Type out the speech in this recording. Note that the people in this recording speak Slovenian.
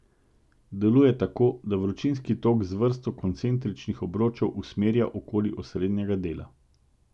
Deluje tako, da vročinski tok z vrsto koncentričnih obročev usmerja okoli osrednjega dela.